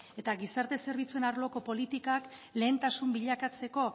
eta gizarte zerbitzuen arloko politikak lehentasun bilakatzeko